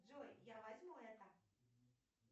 джой я возьму это